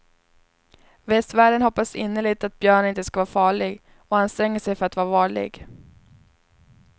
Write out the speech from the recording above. Västvärlden hoppas innerligt att björnen inte skall vara farlig och anstränger sig för att vara varlig.